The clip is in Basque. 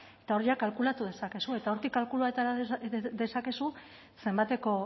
eta hor jada kalkulatu dezakezu eta hortik kalkulatu dezakezu zenbateko